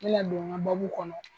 Me na don n ka kɔnɔ.